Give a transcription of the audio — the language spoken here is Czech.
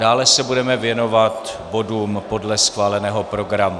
Dále se budeme věnovat bodům podle schváleného programu.